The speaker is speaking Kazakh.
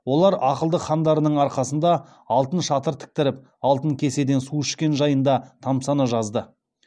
олар ақылды хандарының арқасында алтын шатыр тіктіріп алтын кеседен су ішкені жайында тамсана жазды